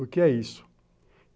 O que é isso?